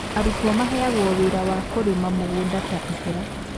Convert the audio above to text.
Arutwo maheagwo wĩra wa kũrĩma mũgũnda ta ihera